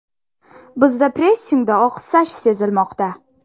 Bizda pressingda oqsash sezilmoqda.